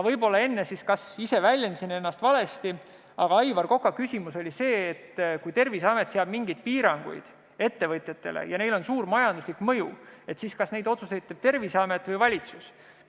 Võib-olla ma enne ise väljendasin ennast valesti, aga Aivar Koka küsimus oli see, et kui Terviseamet seab ettevõtjatele mingisugused piirangud ja neil on suur majanduslik mõju, siis kas vastavad otsused teeb Terviseamet või valitsus.